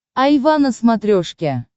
айва на смотрешке